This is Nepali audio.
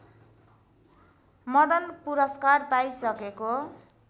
मदन पुरस्कार पाइसकेको